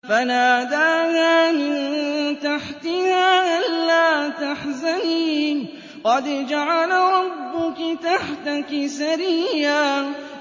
فَنَادَاهَا مِن تَحْتِهَا أَلَّا تَحْزَنِي قَدْ جَعَلَ رَبُّكِ تَحْتَكِ سَرِيًّا